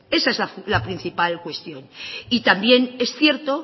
esa es la principal cuestión y también es cierto